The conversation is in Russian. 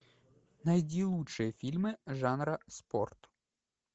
найди лучшие фильмы жанра спорт